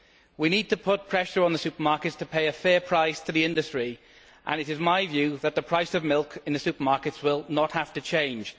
We need to put pressure on the supermarkets to pay a fair price to the industry, and it is my view that the price of milk in the supermarkets will not have to change.